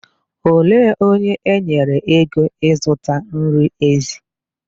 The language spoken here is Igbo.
Olee onye enyere ego ịzụta nri ezi?